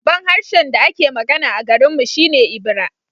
Babban harshen da ake magana a garinmu shi ne Ebira